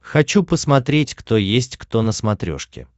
хочу посмотреть кто есть кто на смотрешке